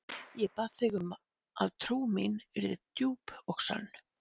Ég bað þig um að trú mín yrði djúp og sönn.